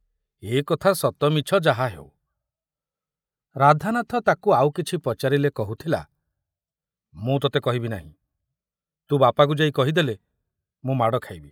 ଏ କଥା ସତ ମିଛ ଯାହା ହେଉ, ରାଧାନାଥ ତାକୁ ଆଉ କିଛି ପଚାରିଲେ କହୁଥିଲା, ମୁଁ ତତେ କହିବି ନାହିଁ, ତୁ ବାପାକୁ ଯାଇ କହିଦେଲେ ମୁଁ ମାଡ଼ ଖାଇବି।